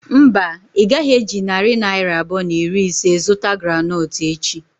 Mba, ị gaghị eji narị naira abụọ na iri ise zụta groundnut echi.